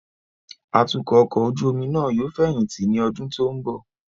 Atukọ ọkọ ojú omi nàa yóò feyinti ni ọdun to nbo